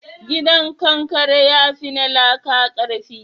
Gidan kankare ya fi na laƙa karfi?